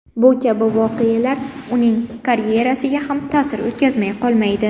Bu kabi voqealar uning karyerasiga ham ta’sir o‘tkazmay qolmaydi.